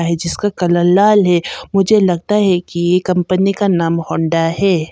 ऐ जिसका कलर लाल है मुझे लगता है कि ये कंपनी का नाम होंडा है।